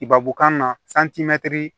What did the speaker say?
Ibabukan na